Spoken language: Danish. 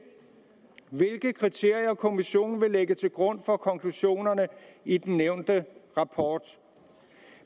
hvilke kriterier kommissionen vil lægge til grund for konklusionerne i den nævnte rapport